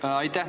Aitäh!